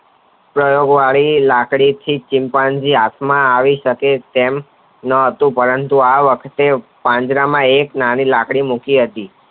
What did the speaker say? લાકડી થી ચિમ્પાજીન હાથ માં આવી શકે તેમ નહતું પરંતુ આ વખતે પાંજરામાં એક નાની લાકડી મૂકી હતી